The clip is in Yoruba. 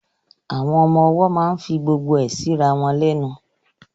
Àwọn ọmọ ọwọ́ máa ń fi gbogbo ẹ síra wọn lẹ́nu